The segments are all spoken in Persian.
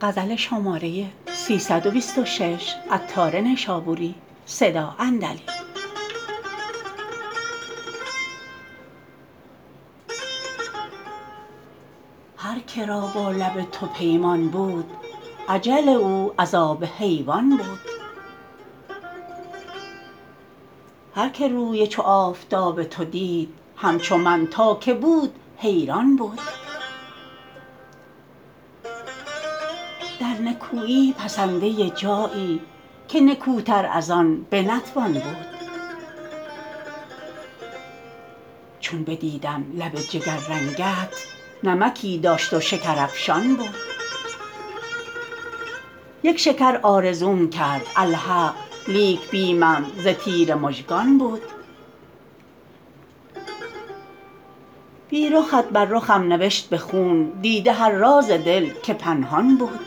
هر که را با لب تو پیمان بود اجل او از آب حیوان بود هر که روی چو آفتاب تو دید همچو من تا که بود حیران بود در نکویی پسنده جایی که نکوتر از آن بنتوان بود چون بدیدم لب جگر رنگت نمکی داشت و شکرافشان بود یک شکر آرزوم کرد الحق لیک بیمم ز تیر مژگان بود بی رخت بر رخم نوشت به خون دیده هر راز دل که پنهان بود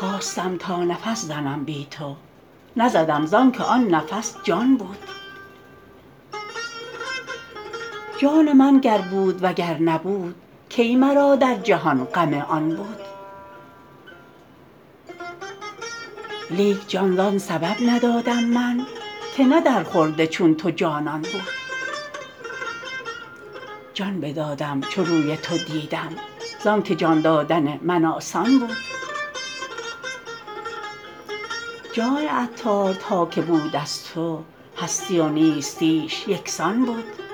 خواستم تا نفس زنم بی تو نزدم زانکه آن نفس جان بود جان من گر بود وگر نبود کی مرا در جهان غم آن بود لیک جان زان سبب ندادم من که نه در خورد چون تو جانان بود جان بدادم چو روی تو دیدم زانکه جان دادن من آسان بود جان عطار تا که بود از تو هستی و نیستیش یکسان بود